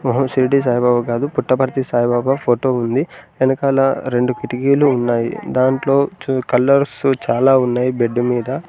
ఆ షిరిడి సాయిబాబా కాదు పుట్టపర్తి సాయిబాబా ఫోటో ఉంది వెనకాల రెండు కిటికీలు ఉన్నాయి దాంట్లో కలర్స్ చాలా ఉన్నాయి బెడ్ మీద.